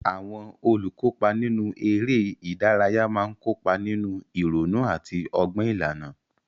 Àwọn olùkópa nínú eré ìdárayá máa ń kópa nínú ìrònú àti ọgbọ́n ìlànà.